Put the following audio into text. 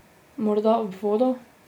Morda ob vodo?